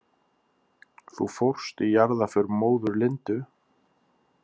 Þú fórst í jarðarför móður Lindu?